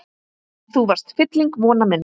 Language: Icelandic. Þú varst fylling vona minna.